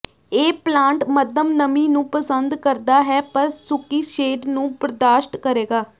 ਇਹ ਪਲਾਂਟ ਮੱਧਮ ਨਮੀ ਨੂੰ ਪਸੰਦ ਕਰਦਾ ਹੈ ਪਰ ਸੁੱਕੀ ਸ਼ੇਡ ਨੂੰ ਬਰਦਾਸ਼ਤ ਕਰੇਗਾ